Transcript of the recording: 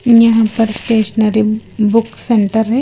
यहां पर अ स्टेशनरी बुक सेंटर है।